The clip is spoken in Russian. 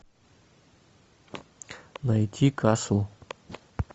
найти касл